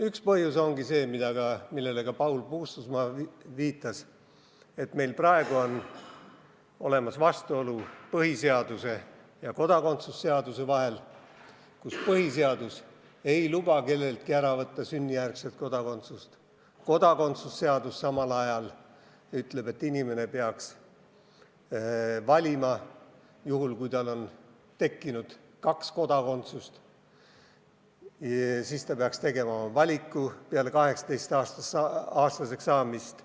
Üks põhjus on see, millele ka Paul Puustusmaa viitas, et meil on vastuolu põhiseaduse ja kodakondsuse seaduse vahel: põhiseadus ei luba sünnijärgset kodakondsust kelleltki ära võtta, samal ajal kodakondsuse seadus ütleb, et inimene peaks valima, juhul kui tal on tekkinud kaks kodakondsust, ja et ta peaks tegema valiku peale 18-aastaseks saamist.